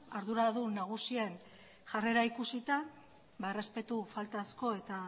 arduradun nagusien jarrera ikusita errespetu faltazko eta